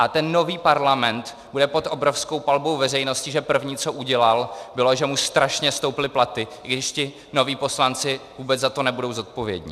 A ten nový parlament bude pod obrovskou palbou veřejnosti, že první, co udělal, bylo, že mu strašně stouply platy, i když ti noví poslanci vůbec za to nebudou zodpovědní.